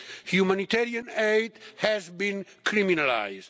Sea. Humanitarian aid has been criminalised.